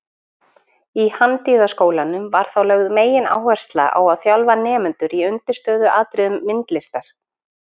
Í Handíðaskólanum var þá lögð megináhersla á að þjálfa nemendur í undirstöðuatriðum myndlistar.